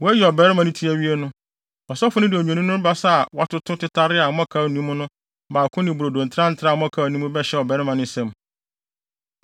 “Wɔayi ɔbarima no tinwi no awie no, ɔsɔfo no de odwennini no basa a wɔatoto tetare a mmɔkaw nni mu no baako ne brodo ntrantraa a mmɔkaw nni mu bɛhyɛ ɔbarima no nsam.